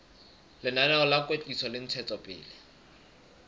lenaneo la kwetliso le ntshetsopele